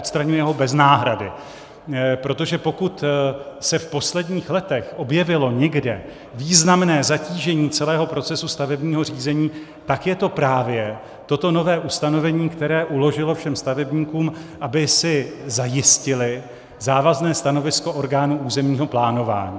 Odstraňuje ho bez náhrady, protože pokud se v posledních letech objevilo někde významné zatížení celého procesu stavebního řízení, tak je to právě toto nové ustanovení, které uložilo všem stavebníkům, aby si zajistili závazné stanovisko orgánů územního plánování.